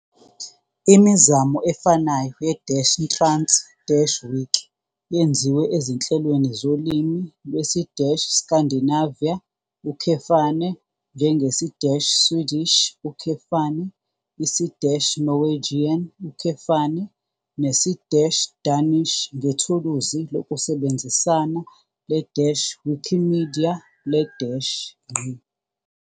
Imizamo efanayo ye-trans-wiki yenziwe ezinhlelweni zolimi lwesi-Scandinavia, njengesi- Swedish, isi- Norwegian, nesi- Danish ngethuluzi lokusebenzisana le- Wikimedia le- ".